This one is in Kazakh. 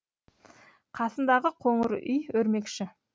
қасындағы қоңыр үй өрмекші